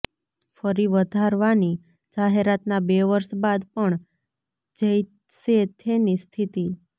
ફરી વધારવાની જાહેરાતના બે વર્ષ બાદ પણ જૈસે થેની સ્થિતિ